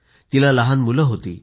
तिला लहान मुलं होती